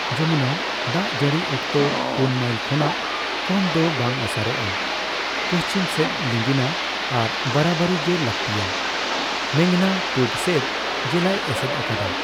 ᱡᱚᱢᱩᱱᱟ, ᱫᱟᱜᱡᱟᱹᱲᱤ ᱚᱠᱛᱚ ᱯᱩᱱ ᱢᱟᱭᱤᱞ ᱠᱷᱚᱱᱟᱜ ᱠᱚᱢ ᱫᱚ ᱵᱟᱝ ᱚᱥᱟᱨᱚᱜᱼᱟ, ᱯᱩᱪᱷᱤᱢ ᱥᱮᱫ ᱞᱤᱸᱜᱤᱱᱟ ᱟᱨ ᱵᱟᱨᱟᱵᱟᱨᱤ ᱜᱮ ᱞᱟᱹᱠᱛᱤᱭᱟ ᱢᱮᱜᱷᱱᱟ ᱯᱩᱵᱽᱥᱮᱫ ᱡᱮᱞᱟᱭ ᱮᱥᱮᱫ ᱟᱠᱟᱫᱟ ᱾